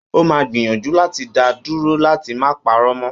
Ó máa gbìyànjú láti da dúró láti má parọ́ mọ́